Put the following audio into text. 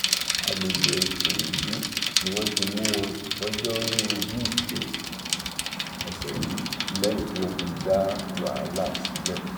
àgbègbè ìkòròdú ni wọn ti mú wọn lọjọrùú wíṣídẹẹ ọsẹ yìí lẹyìn tí wọn ti dá wàhálà sílẹ